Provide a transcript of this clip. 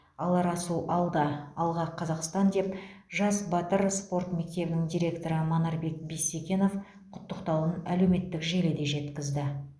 алар асу алда алға қазақстан деп жас батыр спорт мектебінің директоры манарбек бисекенов құттықтауын әлеуметтік желіде жеткізді